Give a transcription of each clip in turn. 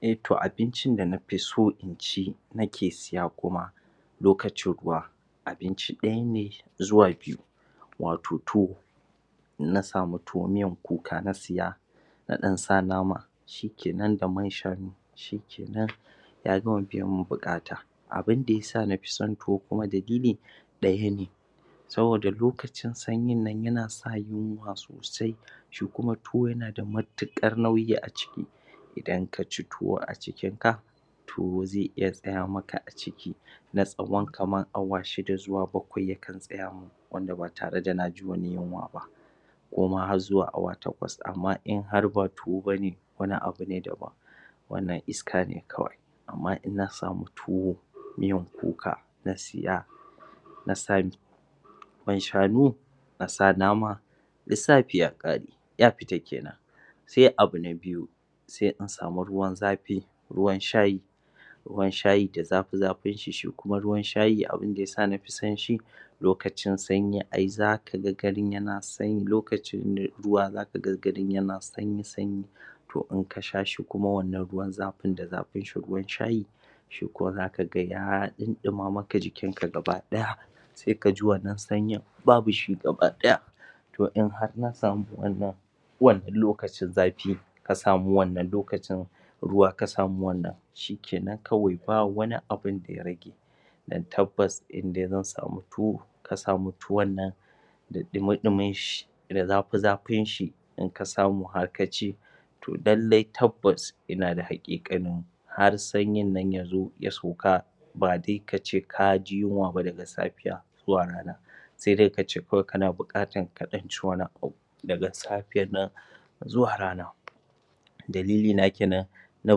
E to abincin da na fi so in ci, nike siya kuma lokacin ruwa abinci ɗaya ne zuwa biyu wato to na samu tuwo miyar kuka na siya na ɗan sa nama shi ke nan da man shanu shi ke nan ya gama bi ya min buƙata abinda ya sa na fi son tuwo kuma dalili ɗaya ne. Saboda lokacin sanyin nan yana sa yunwa sosai shi kuma tuwo yana da matuƙar nauyi a ciki. idan ka ci tuwo a cikin ka, Tuwo zai iya tsaya maka a ciki na tsawon kamara awa shida zuwa bakwai zai tsaya ma. wanda ba tare da na ji wani yunwa ba. ko ma har zuwa awa takwas amma in har ba tuwo ba ne, wani abu ne dabam, wannan iska ne kawai. Amma in na samu tuwa, miyan kuka na siya, na sami man shanu na sa nama lissafi ya faɗi, ya fita ke nan. sai abu na biyu, sai in samu ruwan zafi, ruwan shayi ke nan ruwan shayi da zafi-zafinshi shi kuma ruwan shayi abin da ya sa na fi son shi, lokacin sanyi ai za ka ga yana garin yana sani. Lokacin ruwa za ka ga garin yana sanyi-sanyi to in ka sha shi kuma wannan ruwan zafin da zafin shi ruwan shayi shi kuwa za ka ga ya ɗinɗima maka jikinka gaba ɗaya. sai ka ji wannan sanyin babu shi gaba ɗaya. to in har na samu waɗannan Tuwon in lokacin zafi ne ka samu wannan lokacin ruwa ka samu wannan shi ke nan kawai ba wani abun da ya rage. Don tabbas in dai mun samu tuwo, ka samu tuwan nan da ɗumi-ɗuminshi da zafi-zafinshi, in ka samu har ka ci, to lallai tabbas, ina da haƙiƙanin har sanyin nan ya zo ya sauka ba dai ka ce ka ji yunwa ba daga safiya. zuwa rana. sai dai ka ce kana buƙatar ka ɗan ci wani abu, daga safiyar nan zuwa rana. dalilina ke nan na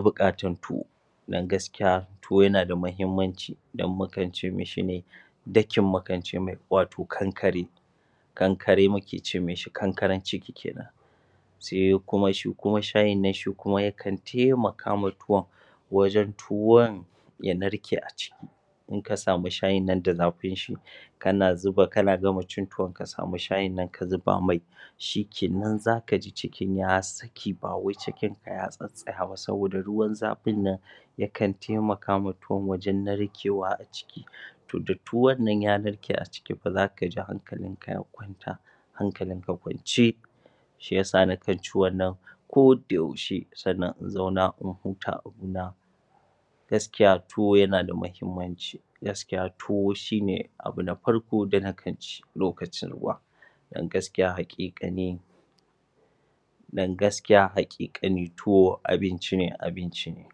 buƙatar tuwo. Don gaskiya, tuwo yana da muhimmanci dakin mukan ce mai, wato kankare. kankare muke ce mishi kankaren ciki ke nan. sai kuma shi kuma shayin nan yakan taimaka wa tuwon. Wajen tuwon ya narke a ciki in ka samu shayin nan da zafin shi, kana zuba kana gama cin tuwon ka samu shayin ka zuba mai, shi ke nan za ka ji cikin ya saki, ba wai cikinka ya tsatstsaya ba, saboda ruwan zafin nan yakan taimaka wa tuwon wajen narkewa a ciki to da tuwon nan ya narke a ciki za ka ji hankalinka ya kwanta, shi ya sa nakan ci wannan kodayaushe sannan in zauna in huta abina Gaskiya tuwo yana da muhimmanci. Gaskiya shi ne abu nafarko da nakan ci lokacin ruwa. don gaskiya haƙiƙa ne, don gaskiya haƙiƙane tuwo abinci ne, abinci ne.